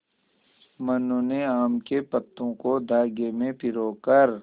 मनु ने आम के पत्तों को धागे में पिरो कर